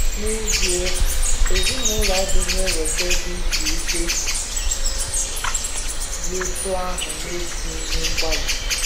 N’ezie, ezinụlọ adịghị eweta ebe izu ike dị otú ahụ n’etinyeghị mgbalị.